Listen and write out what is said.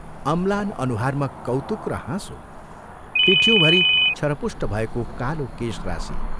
अम्लान अनुहारमा कौतुक र हाँसो, पिठ्यूँभरि छरपुष्ट भएको कालो केशराशि।